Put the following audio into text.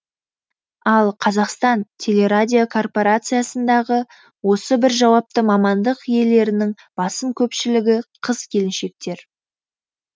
ал қазақстан телерадиокорпорациясындағы осы бір жауапты мамандық иелерінің басым көпшілігі қыз келіншектер